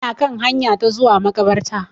Ina kan hanya ta zuwa makabarta.